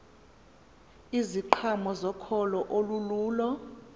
iziqhamo zokholo olululo